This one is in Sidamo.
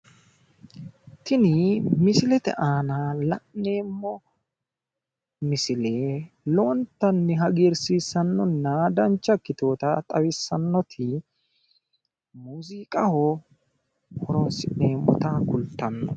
Tini misilete aana la'neemmo misile lowontanni hagiirsiissannonna dancha ikkitewoota xawissannoti muuziiqaho horonsi'neemmota kultanno.